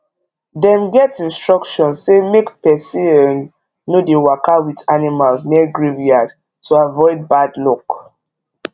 dem get instruction say make person um no dey waka with animals near graveyard to avoid bad luck